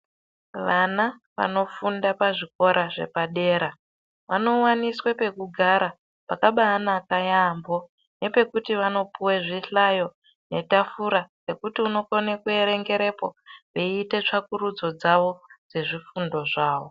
Vana vanofunda pazvikora zvepadera vanowaniswe pekugara pakabanaka yaamho, nepekuti vanopuwe zvihlayo netafura rekuti unokone kuerengerepo veiite tsvakurudzo dzavo dzezvifundo zvawo.